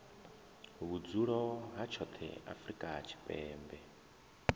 vhudzulo ha tshoṱhe afrika tshipembe